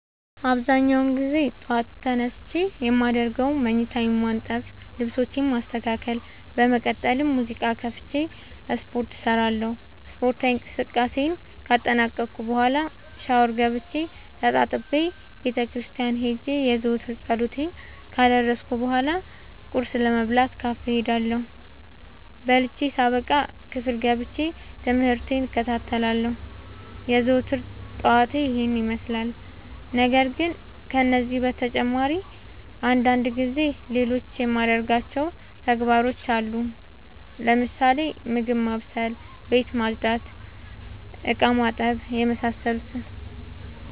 አብዛኛውን ግዜ ጠዎት ተነስቼ የማደርገው መኝታዬን ማነጠፍ ልብሶቼን ማስተካከል በመቀጠልም ሙዚቃ ከፍቼ ስፓርት እሰራለሁ ስፓርታዊ እንቅስቃሴን ካጠናቀቅኩ በኋ ሻውር ገብቼ ተጣጥቤ ቤተክርስቲያን ሄጄ የዘወትር ፀሎቴን ካደረስኩ በሏ ቁርስ ለመብላት ካፌ እሄዳለሁ። በልቼ ሳበቃ ክፍል ገብቼ። ትምህርቴን እከታተላለሁ። የዘወትር ጠዋቴ ይህን ይመስላል። ነገርግን ከነዚህ በተጨማሪ አንዳንድ ጊዜ ሌሎቹ የማደርጋቸው ተግባሮች አሉኝ ለምሳሌ፦ ምግብ ማብሰል፤ ቤት መፅዳት፤ እቃማጠብ የመሳሰሉት።